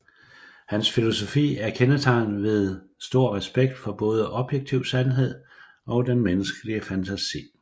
Hans filosofi er kendetegnet ved stor respekt for både objektiv sandhed og den menneskelige fantasi